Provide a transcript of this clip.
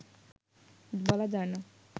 বলা যায়না”